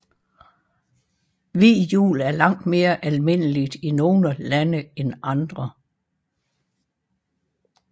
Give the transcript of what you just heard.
Hvid jul er langt mere almindeligt i nogle lande end andre